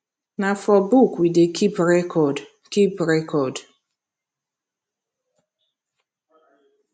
na for book we dey keep record keep record